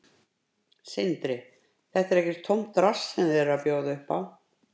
Sindri: Þetta er ekkert tómt drasl sem þið eruð að bjóða upp á?